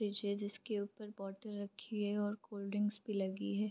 Fridge है जिसके ऊपर बॉटल रखी है और कोल्ड-ड्रिंक्स भी लगी है ।